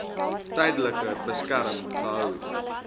tydelike beskerming gehou